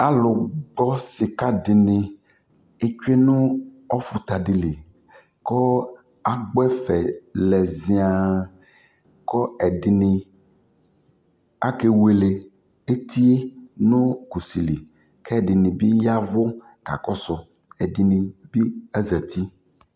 Alʋgbɔ sika dι nι etsue nʋ ɔfuta di ni li kʋ agbɔ ɛfɛ lɛ zian kʋ ɛdi ni akewele eti yɛ nʋ kusi kʋ ɛdi ni bi yavʋ kakɔsu Ɛdi ni bi azeti